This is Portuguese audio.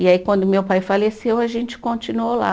E aí quando meu pai faleceu, a gente continuou lá.